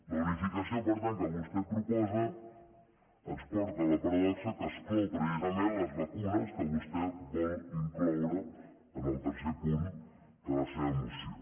la unificació per tant que vostè proposa ens porta a la paradoxa que exclou precisament les vacunes que vostè vol incloure en el tercer punt de la seva moció